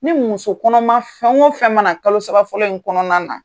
Ni muso kɔnɔma fɛn o fɛn man na kalo saba fɔlɔ in kɔnɔna na.